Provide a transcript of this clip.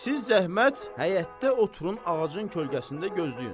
Siz zəhmət, həyətdə oturun, ağacın kölgəsində gözləyin.